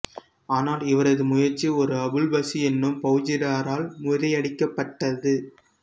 ஆனால் இவரது முயற்சி ஒரு அபுல்பசி எனும் பௌஜிடாரால் முறியடிக்கப்பட்டது